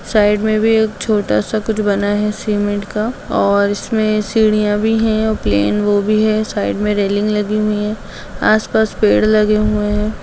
Side मे भी छोटा-सा कुछ बना है सीमेंट का और इसमे सीढ़ियाँ भी हैं और प्लैन वो भी है साइड में रैलिंग लगी हुई है। आस-पास पेड़ लगे हुए हैं।